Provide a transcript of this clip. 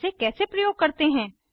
इसे कैसे प्रयोग करते हैं